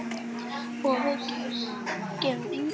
Og gefum engum grið.